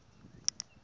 wa yena a a tirha